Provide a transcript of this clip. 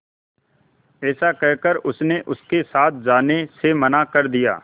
ऐसा कहकर उसने उनके साथ जाने से मना कर दिया